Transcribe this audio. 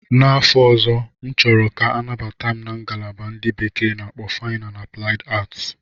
N'afọ ọzọ, M chọrọ ka anabata m na ngalaba ndị bekee na-akpọ Fine and Applied Arts.